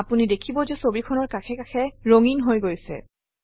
আপুনি দেখিব যে ছবিখনৰ কাষে কাষে ৰঙীন হৈ গৈছে